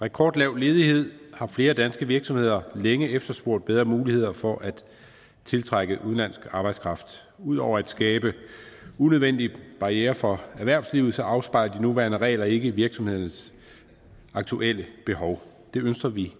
rekordlav ledighed har flere danske virksomheder længe efterspurgt bedre muligheder for at tiltrække udenlandsk arbejdskraft ud over at skabe unødvendige barrierer for erhvervslivet afspejler de nuværende regler ikke virksomhedernes aktuelle behov det ønsker vi